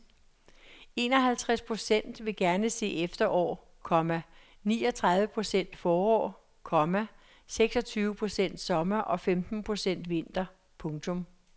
Enoghalvtreds procent vil gerne se efterår, komma niogtredive procent forår, komma syvogtyve procent sommer og femten procent vinter. punktum